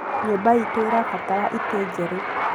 Nyũmba iitũ nĩ ĩrabatara itĩ njerũ